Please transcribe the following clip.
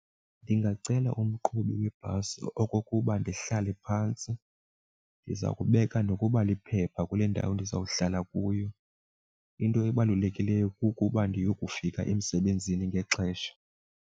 Ndingacela umqhubi webhasi okokuba ndihlale phantsi. Ndiza kubeka nokuba liphepha kule ndawo ndizawuhlala kuyo into ebalulekileyo kukuba ndiyokufika emsebenzini ngexesha.